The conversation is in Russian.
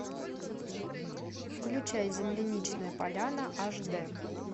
включай земляничная поляна аш дэ